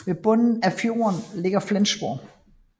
Ved bunden af fjorden ligger Flensborg